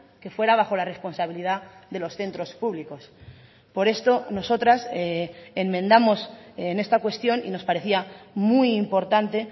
que fuera bajo la responsabilidad de los centros públicos por esto nosotras enmendamos en esta cuestión y nos parecía muy importante